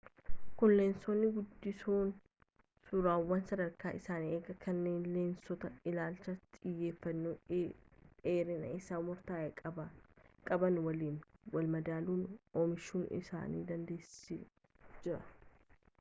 kuni leensonni guddisoon suuraawwan sadarkaa isaanii eegan kanneen lensoota ilaalcha xiyyeefanno dheerinni isaa murtaa'e qaban waliin walmadaalan oomishuu isaan dandeessiseejira